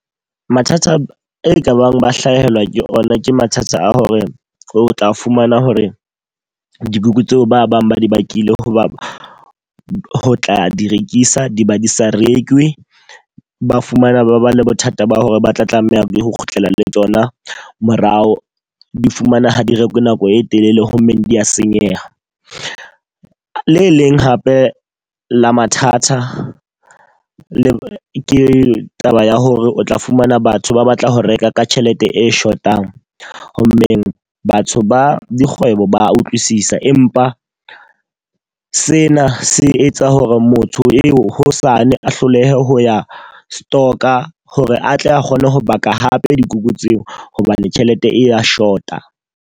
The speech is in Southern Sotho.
Mathata e ka bang ba hlahelwa ke ona ke mathata a hore o tla fumana hore dikuku tseo ba bang ba di bakile hoba ho tla di rekisa di ba di sa rekwe. Ba fumana ba ba le bothata ba hore ba tla tlameha ho kgutlela le tsona morao. Di fumana ha di rekwe nako e telele ho mmeng dia senyeha. Le leng hape la mathata, le ke taba ya hore o tla fumana batho ba batla ho reka ka tjhelete e shotang. Ho mmeng batho ba dikgwebo ba utlwisisa. Empa sena se etsa hore motho eo hosane a hlolehe ho ya stock-a hore atle a kgone ho baka hape dikuku tseo, hobane tjhelete e ya short-a.